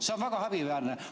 See on väga häbiväärne.